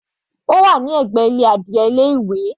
Ó wà ní ẹ̀gbẹ́ ilé adìe ilé ìwé.